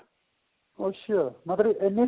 ਅੱਛਾ ਮਤਲਬ ਇੰਨੀ